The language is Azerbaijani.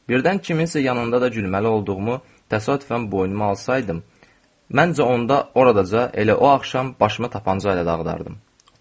Birdən kimsə yanında da gülməli olduğumu təsadüfən boynuma alsaydım, məncə onda orada da elə o axşam başıma tapanca ilə dağıdardım.